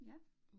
Ja